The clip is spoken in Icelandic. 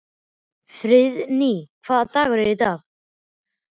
Friðný, hvaða dagur er í dag?